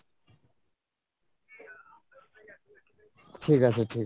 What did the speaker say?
ঠিক আছে ঠিক আছে।